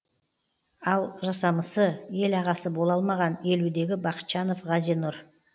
ал жасамысы ел ағасы бола алмаған елудегі бақытжанов ғазинұр